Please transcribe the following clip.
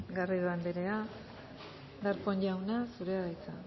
garrido anderea darpón jauna zurea da hitza